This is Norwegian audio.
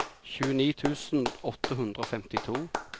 tjueni tusen åtte hundre og femtito